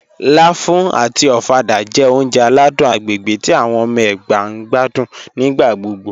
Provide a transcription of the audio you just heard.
Láfù àti ọ̀fàdà jẹ́ ọ̀uǹjẹ̀ aládùn agbègbè tí awọn ọmọ Ẹgba ǹ gbàdún nígbàgbọ́gbọ́